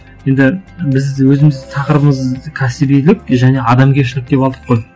енді біз өзіміз тақырыбымыз кәсібилік және адамгершілік деп алдық қой